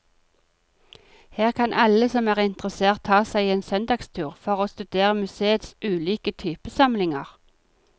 Her kan alle som er interessert ta seg en søndagstur for å studere museets ulike typesamlinger.